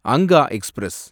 Anga express